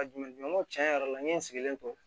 Ka jumɛn ŋɔni tiɲɛ yɛrɛ la n ye n sigilen to